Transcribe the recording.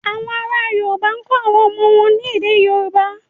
Àwọn ará Yorùbá kọ́ àwọn ọmọ wọn ní èdè Yorùbá.